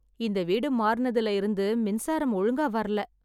இந்த வீடு மாறுனதுல இருந்து மின்சாரம் ஒழுங்கா வரல.